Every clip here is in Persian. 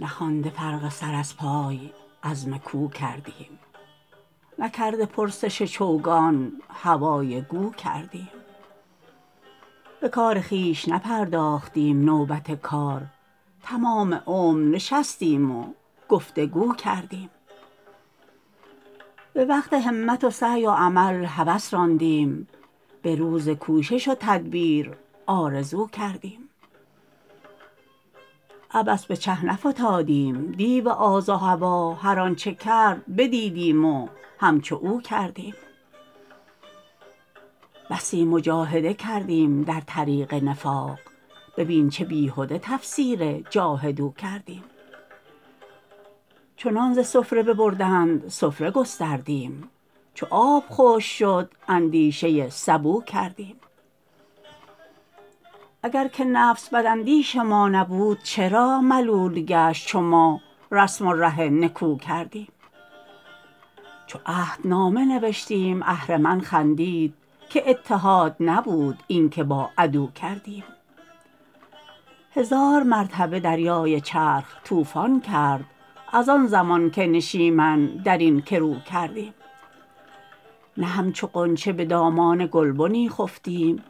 نخوانده فرق سر از پای عزم کو کردیم نکرده پرسش چوگان هوای گو کردیم بکار خویش نپرداختیم نوبت کار تمام عمر نشستیم و گفتگو کردیم بوقت همت و سعی و عمل هوس راندیم بروز کوشش و تدبیر آرزو کردیم عبث به چه نفتادیم دیو آز و هوی هر آنچه کرد بدیدیم و همچو او کردیم بسی مجاهده کردیم در طریق نفاق ببین چه بیهده تفسیر جاهدوا کردیم چونان ز سفره ببردند سفره گستردیم چو آب خشک شد اندیشه سبو کردیم اگر که نفس بداندیش ما نبود چرا ملول گشت چو ما رسم و ره نکو کردیم چو عهدنامه نوشتیم اهرمن خندید که اتحاد نبود اینکه با عدو کردیم هزار مرتبه دریای چرخ طوفان کرد از آن زمان که نشیمن درین کرو کردیم نه همچو غنچه بدامان گلبنی خفتیم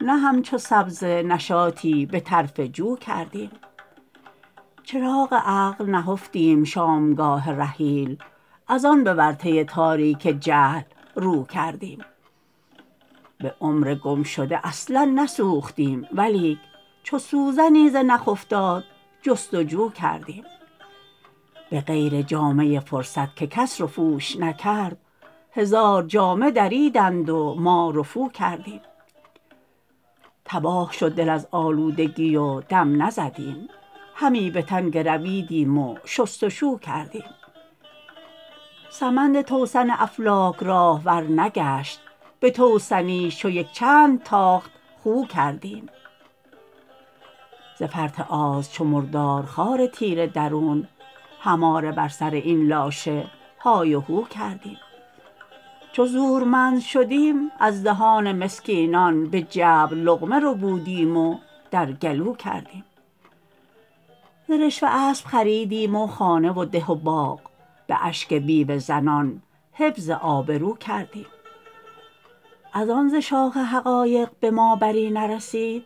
نه همچو سبزه نشاطی بطرف جو کردیم چراغ عقل نهفتیم شامگاه رحیل از آن بورطه تاریک جهل رو کردیم بعمر گم شده اصلا نسوختیم ولیک چو سوزنی ز نخ افتاد جستجو کردیم بغیر جامه فرصت که کس رفوش نکرد هزار جامه دریدند و ما رفو کردیم تباه شد دل از آلودگی و دم نزدیم همی بتن گرویدیم و شستشو کردیم سمند توسن افلاک راهوار نگشت به توسنیسش چو یک چند تاخت خو کردیم ز فرط آز چو مردار خوار تیره درون هماره بر سر این لاشه های و هو کردیم چو زورمند شدیم از دهان مسکینان بجبر لقمه ربودیم و در گلو کردیم ز رشوه اسب خریدیم و خانه و ده و باغ باشک بیوه زنان حفظ آبرو کردیم از آن ز شاخ حقایق بما بری نرسید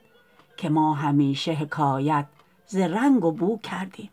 که ما همیشه حکایت ز رنگ و بو کردیم